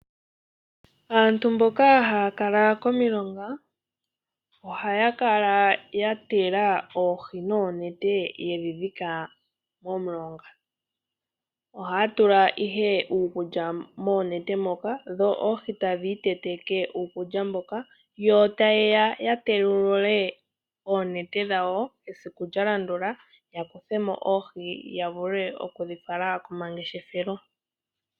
Aantu mboka haya kala komilonga ohaya kala yatega oohi noonete yedhi dhika momulonga. Ohaya tula ihe uukulya moonete moka dho oohi tadhi iteteke uukulya mboka. Yo taye ya yatewulule oonete dhawo esiku lyalandula, yakuthe mo oohi yavule okudhi fala komangeshefelo.